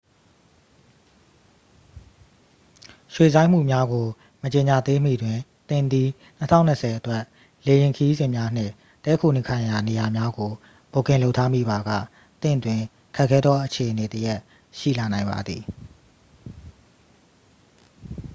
ရွှေ့ဆိုင်းမှုများကို မကြေညာသေးမီတွင် သင်သည် 2020 အတွက် လေယာဉ်ခရီးစဉ်များနှင့် တည်းခိုနေထိုင်ရာနေရာများကို ဘွတ်ကင်လုပ်ထားမိပါက သင့်တွင် ခက်ခဲသောအခြေအနေတစ်ရပ် ရှိလာနိုင်ပါသည်